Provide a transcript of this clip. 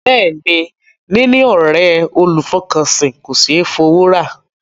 Bẹ́ẹ̀ ni, níní ọ̀ré olùfọkànsìn kò ṣé é fowó rà.